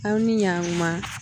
Aw ni ɲaatuma